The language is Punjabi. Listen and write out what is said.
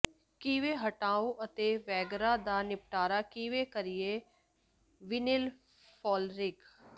ਕਿਵੇਂ ਹਟਾਓ ਅਤੇ ਵਗੈਰਾ ਦਾ ਨਿਪਟਾਰਾ ਕਿਵੇਂ ਕਰੀਏ ਵਿਨਿਲ ਫਲੋਰਿੰਗ